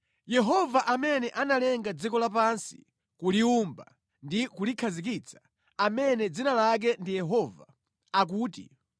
“Yehova amene analenga dziko lapansi, kuliwumba ndi kulikhazikitsa; amene dzina lake ndi Yehova, akuti,